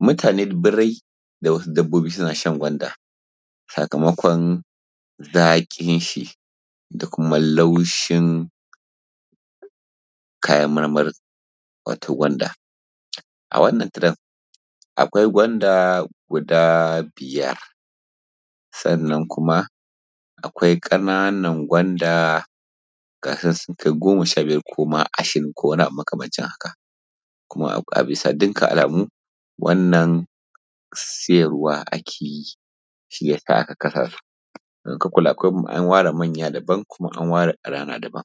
Mutani, birrai da wasu dabbobi suna shan gwanda sakamakon zaƙin shi da kuma laushin kayan marmari wato gwanda. A wannan tiren akwai gwanda gudaa biyar, sannan kuma akwai ƙananan gwanda da za su kai goma sha biyar ko ma ashirin ko kuma wani abu makamancin haka. Kuma a bisa dukkan alamuu gwanda siyarwa ake yi shi ya sa aka kasa su, don in ka kula an ware manya daban kuma an ware ƙanana daban